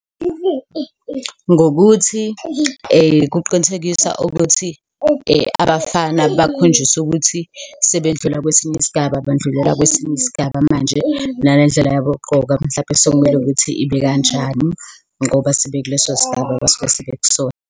Ngokuthi kuqinisekisa ukuthi abafana bakhonjiswe ukuthi sebedlula kwesinye isigaba, bandlulela kwesinye isigaba manje, nalendlela yabo yokugqoka mhlampe sekumele ukuthi ibe kanjani ngoba sebekulesosigaba abasuke sebekusona.